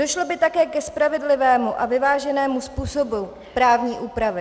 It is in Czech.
Došlo by také ke spravedlivému a vyváženému způsobu právní úpravy.